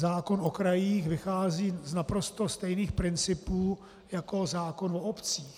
Zákon o krajích vychází z naprosto stejných principů jako zákon o obcích.